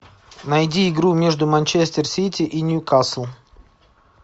найди игру между манчестер сити и ньюкасл